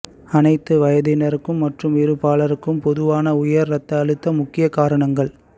அனைத்து வயதினருக்கும் மற்றும் இரு பாலருக்கும் பொதுவான உயர் இரத்த அழுத்தம் முக்கிய காரணங்கள்